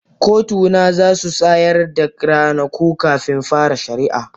kotuna za su tsayar da ranaku kafin fara shari'a